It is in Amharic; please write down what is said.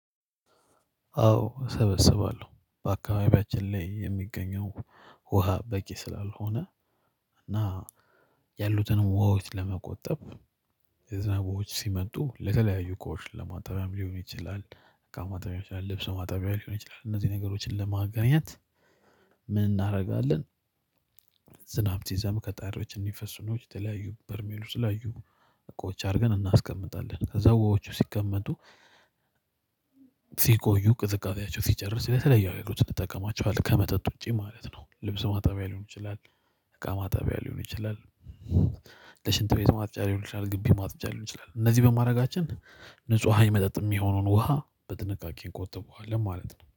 አዎ እሰበስባለሁ በአካባቢያችን ላይ የሚገኘው ውሃ በቂ ስላልሆነ እና ያሉትን ውሃዎች ለመቆጠብ የዝናብ ውሃዎች ሲመጡ ለተለያዩ እቃዎች ለማጣቢያም ሊሆን ይችላል እቃ ማጣበያ ሊሆን ይችላል ልብስ ማጣበያ ሊሆን ይችላል እነዚህን ነገሮችን ለማገናኘት ምን እናደርጋለን? ዝናብ ሲዘንብ ከጣሪያዎች እንዲፈሱ ነው የተለያዩ በርሜሉ የተለያዩ እቃዎች አድርገን እናስቀምጣለን ከዛ ውሃዎቹ ሲቀመጡ ሲቆዩ ቅዝቃዜያቸው ሲጨርስ ስለተለያዩ አይነት ልጠቀማቸዋለኝ ከመጠጥ ውጪ ማለት ነው። ልብስ ማጣቢያ ሊሆን ይችላል እቃ ማጣቢያ ሊሆን ይችላል። ለሽንት ቤት ማጽጃ ሊሆን ይችላል ግቢ ማጽጃ ሊሆን ይችላል እነዚህ በማድረጋችን ንጹህ ውሃ የመጠጥ የሚሆነውን ውሃ በጥንቃቄ እንቆጥበዋለን ማለት ነው